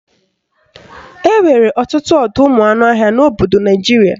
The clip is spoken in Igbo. Enwere ọtụtụ ọdọụmụanụọhịa n'obodo Naijiria